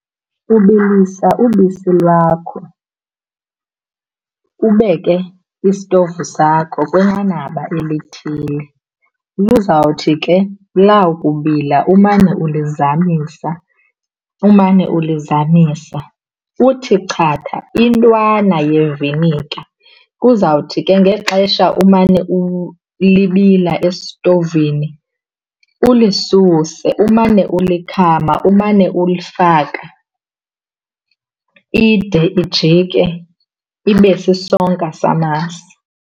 Ubilisa ubisi lwakho, ubeke istovu sakho kwinqanaba elithile. Lizawuthi ke lawukubila umane ulizamisa, umane ulizamisa. Uthi chatha intwana yeviniga. Kuzawuthi ke ngexesha umane libila estovini ulisuse umane ulikhama, umane ulifaka ide ijike ibe sisonka samasi.